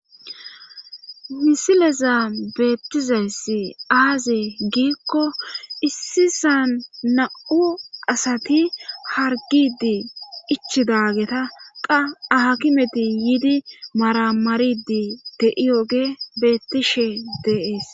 misileza beettizayssi aaze giikko issisan na'u asati hargidi ichidaageta qa akimeti yiidi maramaridi de'iyooge beettishe de'ees